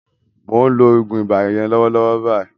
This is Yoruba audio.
Mò ń lo oògùn ibà yẹn lọ́wọ́lọ́wọ́ báyìí